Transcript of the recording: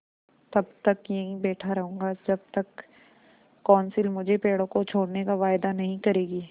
तब तक यहीं बैठा रहूँगा जब तक कौंसिल मुझे पेड़ों को छोड़ने का वायदा नहीं करेगी